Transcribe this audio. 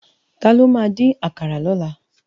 Tàló má din àkàrá lòlá?